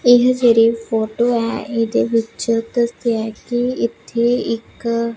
ਇਹ ਜਿਹੜੀ ਫੋਟੋ ਹੈ ਇਹਦੇ ਵਿੱਚ ਦੱਸਿਆ ਹੈ ਕਿ ਇੱਥੇ ਇੱਕ--